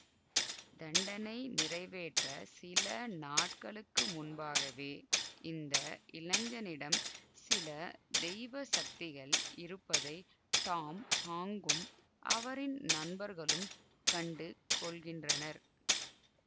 தண்டனை நிறைவேற்ற சில நாட்களுக்கு முன்பாகவே இந்த இளைஞனிடம் சில தெய்வ சக்திகள் இருப்பதை டாம் ஹாங்கும் அவரின் நண்பர்களும் கண்டுகொள்கின்றனர்